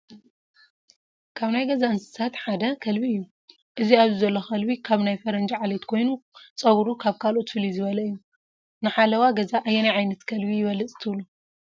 ካብ ናይ ገዛ እንስሳታ ከልቢ እዩ፡፡ እዚ ኣብዚ ዘሎ ከልቢ ካብ ናይ ፈረንጂ ዓሌት ኮይኑ ፀጉሩ ካብ ካልኦት ፍልይ ዝበለ እዩ፡፡ ንሓለዋ ገዛ ኣየናይ ዓይነት ከልቢ ይበልፅ ትብሉ?